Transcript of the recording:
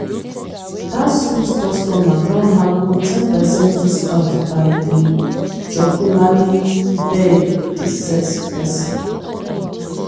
dat sweet customer don haggle ten percent discount by dey jocularly beg di sales person.